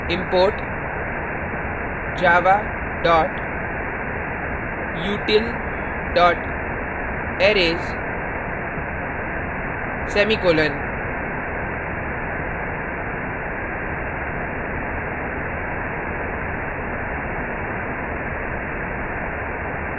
import java util arrays semicolon